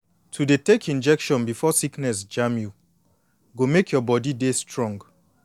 to dey take injection before sickness jam you go make your body dey strong